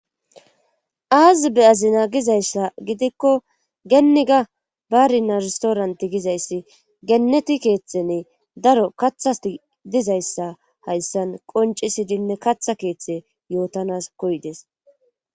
Aazi be7azina gizayssa gidikko geniga barina restorant gizayssi geneti keetheni daro kathati dizayssa hayssan qonccissidinne katha keethe yootanas koyides.